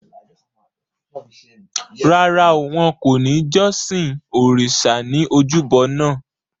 Rárá o, wọn kò ní jọ́sìn òrìṣa ní ojúbo naa